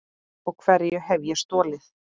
Og hverju hef ég stolið?